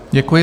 Děkuji.